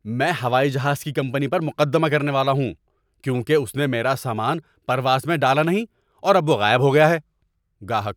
میں ہوائی جہاز کی کمپنی پر مقدمہ کرنے والا ہوں کیونکہ اس نے میرا سامان پرواز میں ڈالا نہیں اور اب وہ غائب ہو گیا ہے۔ (گاہک)